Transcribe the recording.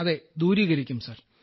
അതെ ദൂരീകരിക്കും സർ